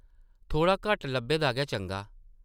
थोह्ड़ा घट्ट लब्भे दा गै चंगा ।